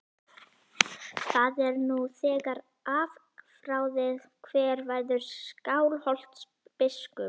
Það er nú þegar afráðið hver verður Skálholtsbiskup.